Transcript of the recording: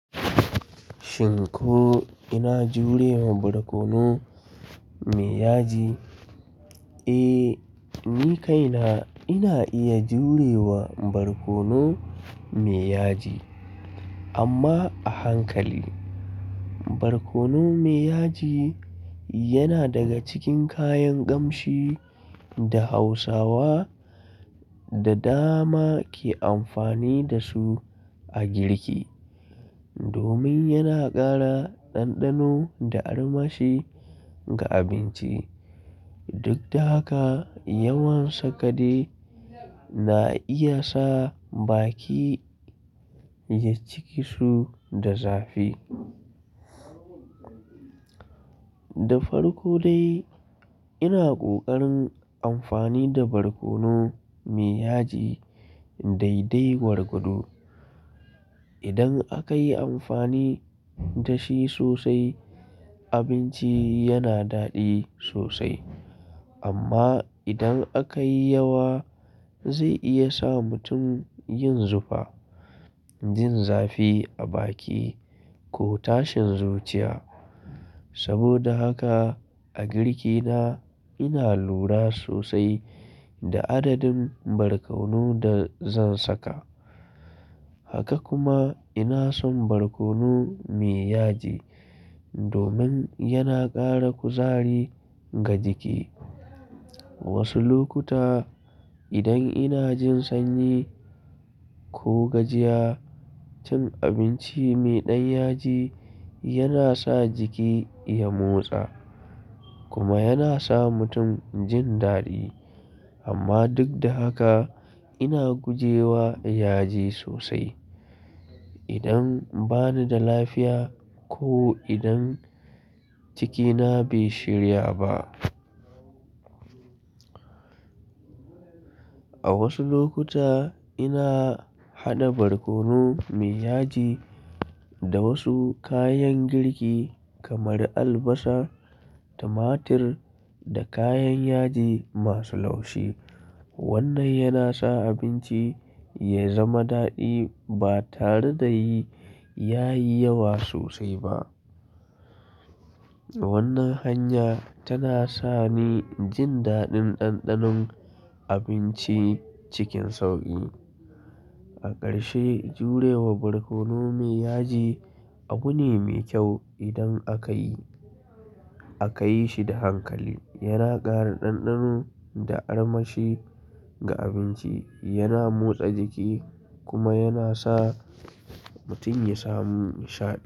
Shin ko ina jurewa barkono me yaji? Eh, ni kaina ina iya jurewa barkono me yaji amma a hankali. Barkono me yaji yana daga cikin kayan kamshi da Hausawa da dama ke amfani da su a girki. Domin yana ƙara ɗanɗano da armashi ga abinci. Duk da haka, yawan sakade na iya sa baki ya ciki su da zafi. Da farko dai ina ƙoƙarin amfani da barkono me yaji daidai gwargwado. Idan aka yi amfani da shi sosai, abinci yana daɗi sosai. Amma idan aka yi yawa, zai iya sa mutum yin zufa, jin zafi a baki ko tashin zuciya. Saboda haka a girki na, ina lura sosai da adadin barkono da zan saka. Haka kuma ina son barkono me yaji domin yana ƙara kuzari ga jiki. Wasu lokuta idan ina jin sanyi ko gajiya, cin abinci mai ɗan yaji yana sa jiki ya motsa kuma yana sa mutum jin daɗi. Amma duk da haka ina guje wa yaji sosai idan bani da lafiya ko idan cikina bai shirya ba. A wasu lokuta ina haɗa barkono me yaji da wasu kayan girki kamar albasa, tumatir da kayan yaji masu laushi. Wannan yana sa abinci ya zama daɗi ba tare da yi, yayi yawa sosai ba. Wannan hanya tana sa ni jin daɗin ɗanɗanon abinci cikin sauƙi. A ƙarshe, jurewa barkono me yaji abu ne mai kyau idan aka yi, aka yi shi da hankali. Yana ƙara ɗanɗano da armashi ga abinci, yana motsa jiki kuma yana sa mutum ya samu nishaɗi.